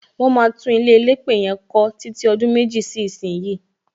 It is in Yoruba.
Wọn máa tún ilé elépè yẹn kọ títí ọdún méjì sí ìsín.